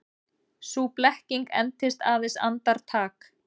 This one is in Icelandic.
Sú blekking entist aðeins andartak.